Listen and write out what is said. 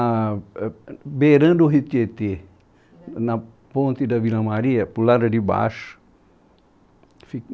ah, ãh beirando o Rio Tietê, na ponte da Vila Maria, para o lado de baixo. Ali